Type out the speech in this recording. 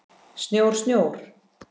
Snjór, snjór.